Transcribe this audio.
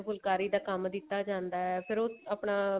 ਫੁਲਕਾਰੀ ਦਾ ਕੰਮ ਦਿੱਤਾ ਜਾਂਦਾ ਫ਼ੇਰ ਉਹ ਆਪਣਾ